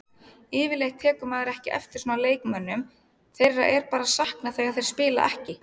Yfirleitt tekur maður ekki eftir svona leikmönnum, þeirra er bara saknað þegar þeir spila ekki.